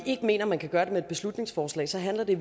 ikke mener man kan gøre det med et beslutningsforslag så handler det